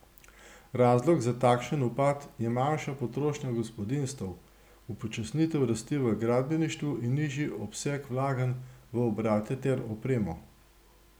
Razlog za takšen upad je manjša potrošnja gospodinjstev, upočasnitev rasti v gradbeništvu in nižji obseg vlaganj v obrate ter opremo.